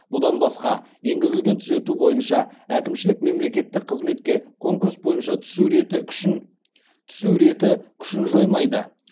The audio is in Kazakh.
бұдан басқа енгізілген түзету бойынша әкімшілік мемлекеттік қызметке конкурс бойынша түсу реті күшін жоймайды